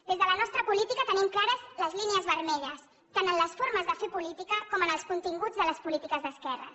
des de la nostra política tenim clares les línies vermelles tant en les formes de fer política com en els continguts de les polítiques d’esquerres